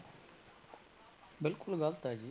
ਬਿਲਕੁਲ ਗ਼ਲਤ ਹੈ ਜੀ।